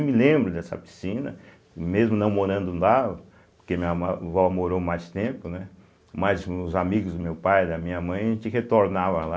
Eu me lembro dessa piscina, mesmo não morando lá, porque minha avó morou mais tempo, né, mas os amigos do meu pai e da minha mãe a gente retornava lá.